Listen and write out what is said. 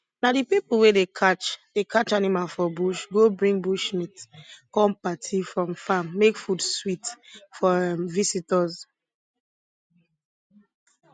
na di pipo wey dey catch dey catch animal for bush go bring bush meat come party from farm make food sweet for um visitors